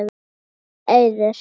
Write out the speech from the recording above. Þín, Auður.